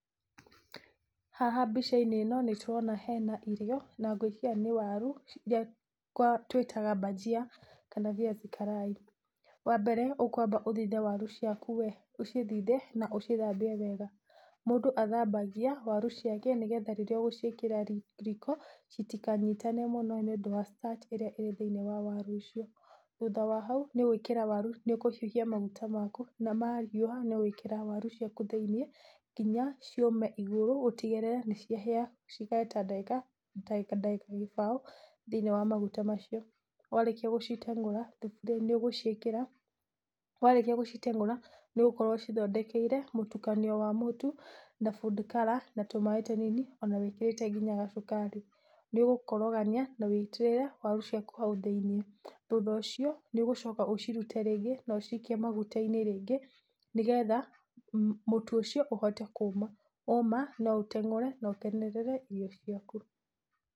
Haha mbica ĩno nĩ tũrona hena irio na ngwĩciria nĩ waru iria twĩtaga mbanjia kana viazi karai. Wa mbere ũkwamba gũthambia waru waku we, ũcithithe na ũcithambie wega, mũndũ athambagia waru ciake nĩgetha rĩrĩa ũgũciĩkĩra riko itikanyitane mũno nĩ ũndũ wa starch ĩrĩa ĩrĩ thĩinĩ wa waru ũcio , thutha wa hau nĩ ũkũhiũhia maguta maku na mahiũha nĩ ũgwĩkĩra waru ciaku thĩinĩ nginya ciũme igũrũ ũtigĩrĩre nĩ can hĩa, cikare ta ndagĩka kĩbaũ thĩinĩ wa maguta macio. Warĩkia gũciteng'ũra nĩ ũgũkorwo ũcithondekeire mũtukanio wa mũtu na food color ona tũmaĩ tũnini ona wĩkĩrĩte nginya gacukari, nĩ ũgũkorogania na woitĩrĩre waru ciaku hau thĩinĩ, thutha ũcio nĩ ũgũcoka ũcikie rĩngĩ na ũcicokie maguta-inĩ rĩngĩ nĩgetha mũtu ũcio ũhote kũma, woma no ũteng'ure na ũkenerere irio ciaku.